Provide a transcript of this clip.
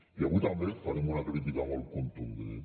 i avui també farem una crítica molt contundent